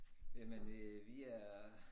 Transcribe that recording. Jamen øh vi er